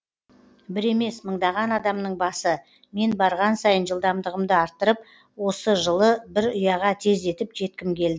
бір емес мыңдаған адамның басы мен барған сайын жылдамдығымды арттырып осы жылы бір ұяға тездетіп жеткім келді